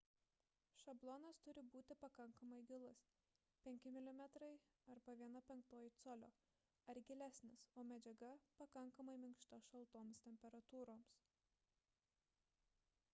šablonas turi būti pakankamai gilus – 5 mm 1/5 col. ar gilesnis o medžiaga – pakankamai minkšta šaltoms temperatūroms